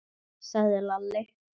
sagði Lalli.